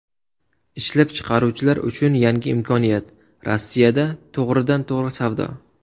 Ishlab chiqaruvchilar uchun yangi imkoniyat Rossiyada to‘g‘ridan to‘g‘ri savdo.